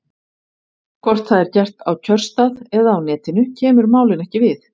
Hvort það er gert á kjörstað eða á Netinu kemur málinu ekki við.